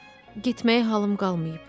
Getməyə halım qalmayıb.